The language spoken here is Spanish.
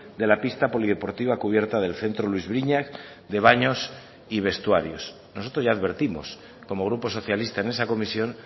de la pista polideportiva cubierta del centro luis briñas de baños y vestuarios nosotros ya advertimos como grupo socialista en esa comisión